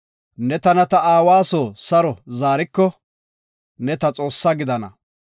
ne tana ta aawa soo saro zaariko, ne ta Xoossa gidana.